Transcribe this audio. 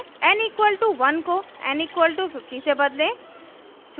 n = 1 को n = 50 से बदलें